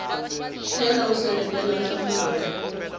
tlhela u seketela nhlamulo ya